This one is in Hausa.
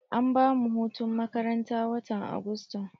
An bamu hutun makaranta watan Agusta.